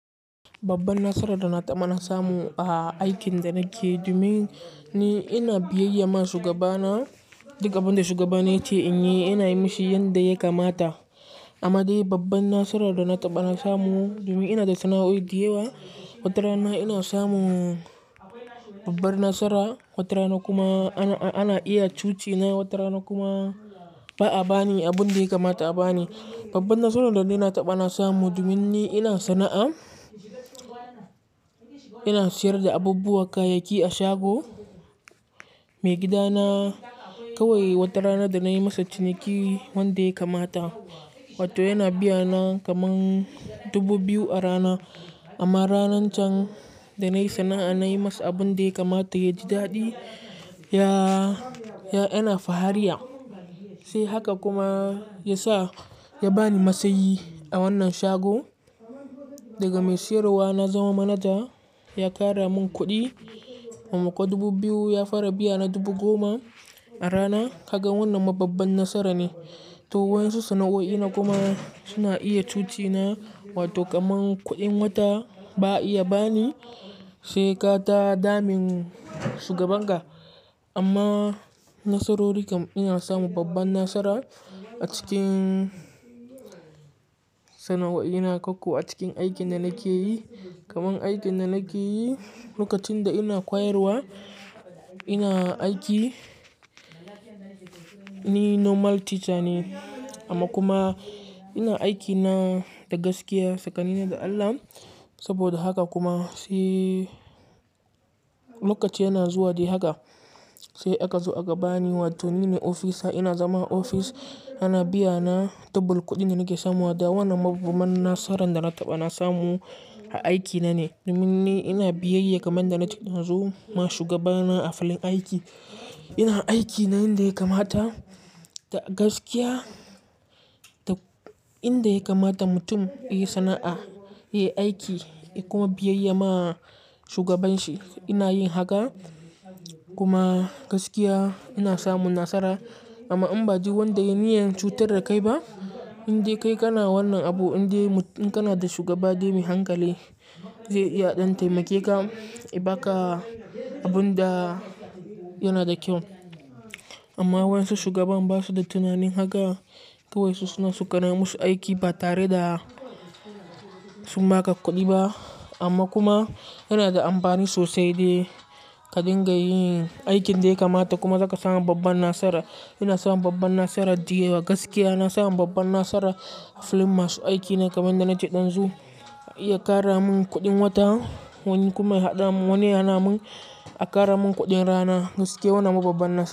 Babban nasarar da na taɓa samuwa a aikin da nake yi, domin ni ina biyayya ma shugabana. Duka abin da shugabana yace in yi, ina yi shi yanda ya kamata. Amma dai babban nasarar da na taɓa samu, domin ina da sana'o'i da yawa. Wata rana ina samun babban nasara, wata rana kuma ana iya cuci na, wata rana kuma ba a ba ni abun da ya kamata a ba ni. Babban nasarar da na taɓa samuwa, domin ni ina sana'a, ina sayar da abubuwa, kayayyaki a shago. Maigidana kawai wata rana da na yi masa ciniki wanda ya kamata, wato yana biya na kaman dubu biyu a rana. Amma ranan can da na yi sana'a, na yi masa abun dai kamata, ya ji daɗi, ya, ya, yana fahariya. Sai haka kuma ya sa ya ba ni matsayi a wannan shago. Daga mai sayarwa na zama manaja, ya ƙara mun kuɗi. Kuma kwa dubu biyu ya fara biya na dubu goma a rana. Kaga wannan ma babban nasara ne. To waɗansu sana'o'i na kuma suna iya cuci na, wato kaman kuɗin wata ba a iya ba ni, sai ka ta damin shugabanka. Amma nasarori kam ina samun babban nasara a cikin sana'o'i na, ko ku a cikin aikin da nake yi. Kaman aikin da nake yi lokacin da ina ƙwayarwa, ina aiki, ni normal teacher ne amma kuma ina aikina da gaskiya, tsakanina da Allah. Saboda haka kuma sai lokaci yana zuwa dai haka, sai aka zo aka ba ni, wato nine ofisa. Ina zama ofis, ana biya na double kuɗin da nake samuwa. Da wannan mabubban nasarar da na taɓa samuwa a aikina ne, domin ni ina biyayya kaman da nake zo ma shugabana a filin aiki. Ina aiki na yanda ya kamata, da gaskiya, da inda ya kamata mutum ya yi sana'a, ya yi aiki, ya kuma biyayya ma shugaban shi. Ina yin haka, kuma gaskiya ina samun nasara. Amma in ba ji wanda ya niyyar cutar da kai ba. Indai kai kana wannan abu, indai mutum, in kana da shugaba dai mai hankali zai iya ɗan taimake ka, ya baka abun da yana da kyau. Amma waɗansu shugaban ba su da tunanin haka. Kawai su suna su ƙana musu aiki ba tare da sun ba ka kuɗi ba. Amma kuma yana da amfani sosai dai ka dinga yin aikin dai kamata kuma zaka samu babban nasara. Ina samun babban nasara da yawa, gaskiya ina samun babban nasara a filin masu aiki na kaman da nake ɗan zu. Ya ƙara mun kuɗin wata wani kuma ya haɗa mun wani ya na mun, ya ƙara mun kuɗin rana. Gaskiya wannan ma babban nasara.